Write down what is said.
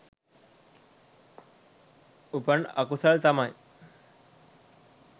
උපන් අකුසල් තමයි